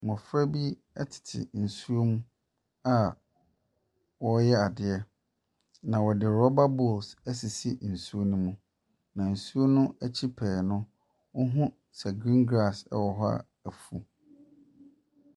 Mmɔfra bi tete nsuo ho a wɔreyɛ adeɛ, na wɔde rɔba bowls asisi nsuo no mu, na nsuo no akyi pɛɛ no, wohu sɛ green grass wɔ hɔ a afu.